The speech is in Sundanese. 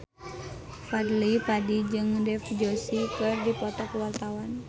Fadly Padi jeung Dev Joshi keur dipoto ku wartawan